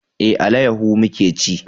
Eh, alayaho muka ci